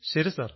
ശരി സർ